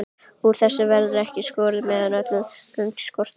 Úr þessu verður ekki skorið, meðan öll gögn skortir.